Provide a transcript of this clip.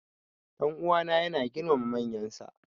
Dan uwana yana girmama manyansa.